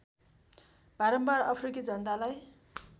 बारम्बार अफ्रिकी जनतालाई